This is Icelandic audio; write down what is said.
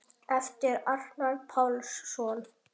eftir Arnar Pálsson